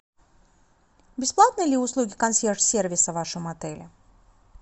бесплатные ли услуги консьерж сервиса в вашем отеле